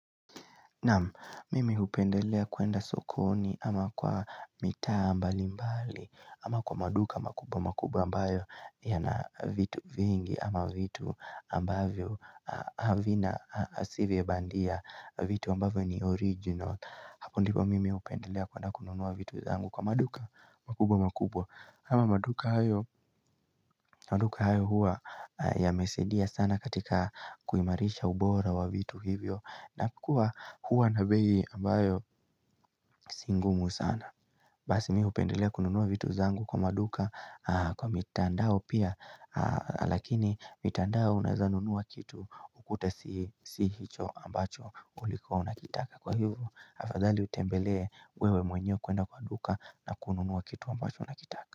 Nama mimi hupendelea kuenda sokoni ama kwa mitaa mbali mbali ama kwa maduka makubwa makubwa ambayo yana vitu vingi ama vitu ambavyo havina si vya bandia vitu ambavyo ni original. Hapo ndipo mimi hupendelea kwedna kununua vitu zangu kwa maduka makubwa makubwa ama maduka hayo maduka hayo huwa yamesaidia sana katika kuimarisha ubora wa vitu hivyo na kuwa huwa na bei ambayo si ngumu sana Basi mimi hupendelea kununua vitu zangu kwa maduka kwa mitandao pia Lakini mitandao unaeza nunua kitu ukute si hicho ambacho uliku unakitaka Kwa hivyo afadhali utembelee wewe mwenye kuenda kwa duka na kununua kitu ambacho unakitaka.